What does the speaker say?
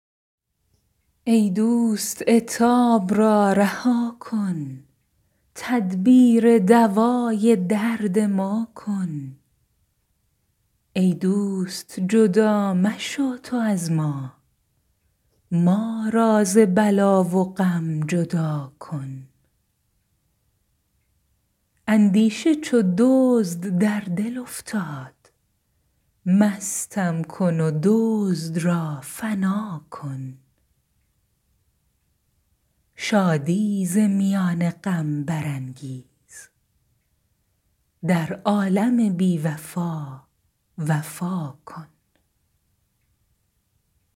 ای دوست عتاب را رها کن تدبیر دوای درد ما کن ای دوست جدا مشو تو از ما ما را ز بلا و غم جدا کن اندیشه چو دزد در دل افتاد مستم کن و دزد را فنا کن شادی ز میان غم برانگیز در عالم بی وفا وفا کن